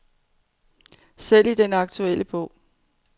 Selv i den aktuelle bog.